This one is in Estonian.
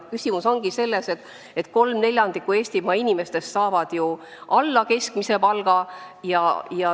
Küsimus ongi selles, et 3/4 Eestimaa inimestest saab alla keskmise palga.